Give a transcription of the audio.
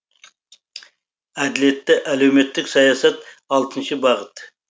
әділетті әлеуметтік саясат алтыншы бағыт